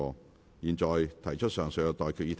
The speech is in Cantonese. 我現在向各位提出上述待決議題。